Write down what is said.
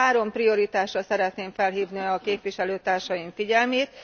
Három prioritásra szeretném felhívni a képviselőtársaim figyelmét.